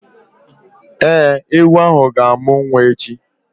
Ee, ewu ahụ ga-amụ nwa echi